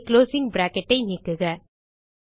இங்கே closing bracket ஐ நீக்குக